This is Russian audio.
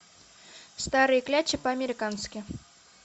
старые клячи по американски